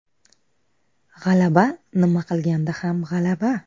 G‘alaba nima qilganda ham g‘alaba.